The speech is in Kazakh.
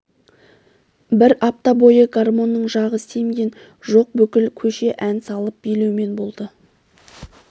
бір апта бойы гармонның жағы семген жоқ бүкіл көше ән салып билеумен болды